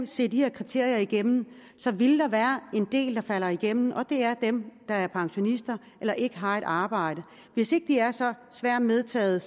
ser de her kriterier igennem vil der være en del der falder igennem og det er dem der er pensionister eller ikke har et arbejde hvis ikke de er så svært medtagede